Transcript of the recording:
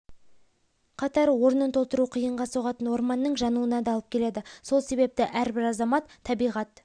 қатар орнын толтыру қиынға соғатын орманның жануына да алып келеді сол себепті әрбір азамат табиғат